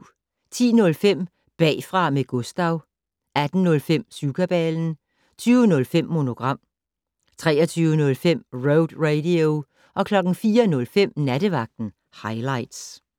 10:05: Bagfra med Gustav 18:05: Syvkabalen 20:05: Monogram 23:05: Road Radio 04:05: Nattevagten Highligts